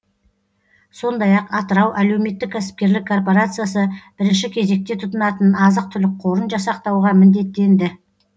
сондай ақ атырау әлеуметтік кәсіпкерлік корпорациясы бірінші кезекте тұтынатын азық түлік қорын жасақтауға міндеттенді